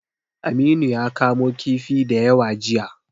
Aminu ya kamo kifi da yawa jiya.